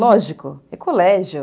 Lógico, é colégio.